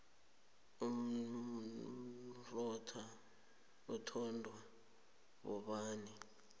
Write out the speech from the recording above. umrotha uthondwa bobaba